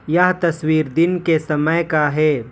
यह तस्वीर दिन के समय का है।